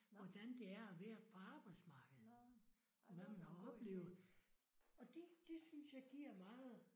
Hvordan det er at være på arbejdsmarkedet hvad man har oplevet og det det synes jeg giver meget